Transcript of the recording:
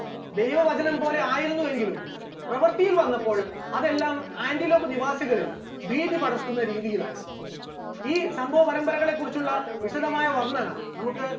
ദൈവവചനം പോലെ ആയിരുന്നുവെങ്കിലും പ്രവർത്തിയിൽ വന്നപ്പോൾ അതെല്ലാം ആന്റിലോപ് നിവാസികളിൽ ഭീതി പടർത്തുന്ന രീതിയിലായിരുന്നു, ഈ സംഭവപരമ്പരകളെ കുറിച്ചുള്ള വിശദമായ വർണ്ണന നമുക്ക്